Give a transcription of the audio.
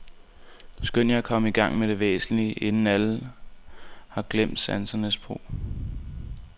Skynd jer at komme i gang med det væsentlige, inden alle har glemt sansernes brug.